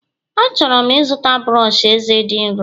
A chọrọ m ịzụta brọsh eze dị nro